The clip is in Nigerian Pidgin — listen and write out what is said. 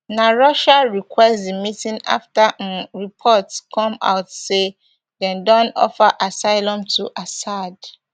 na russiarequest di meeting after um reports ccome out say dem don offer asylum to assad